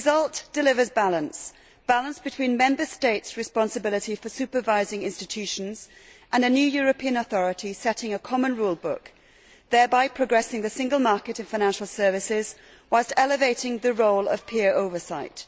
The result delivers balance balance between Member States' responsibility for supervising institutions and a new European authority setting a common rule book, thereby progressing the single market in financial services whilst elevating the role of peer oversight